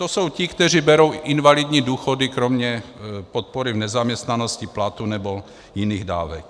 To jsou ti, kteří berou invalidní důchody kromě podpory v nezaměstnanosti, platu nebo jiných dávek.